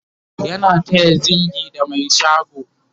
yana taya zingi da Mai shago